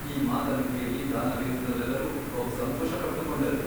ಈ ಮಾತನ್ನು ಕೇಳಿ ದಾನವೇಂದ್ರರೆಲ್ಲರೂ ಬಹು ಸಂತೋಷಪಟ್ಟುಕೊಂಡರು.